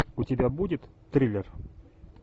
у тебя будет триллер